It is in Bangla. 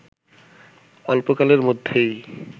অল্পকালের মধ্যেই